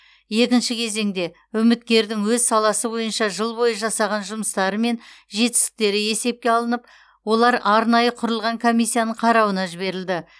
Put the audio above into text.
екінші кезеңде үміткердің өз саласы бойынша жыл бойы жасаған жұмыстары мен жетістіктері есепке алынып олар арнайы құрылған комиссияның қарауына жіберілді